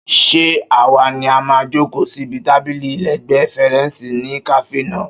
Ṣé àwa ni a máa jòkó síbi tábìlì lẹ́ẹ̀gbẹ́ fèrèsé ní kàáfè náà?